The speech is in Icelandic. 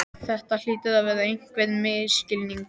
Þetta hlýtur að vera einhver misskilningur.